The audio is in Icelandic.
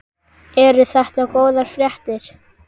Eru þetta góðar fréttir?